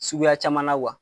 Suguya caman wa.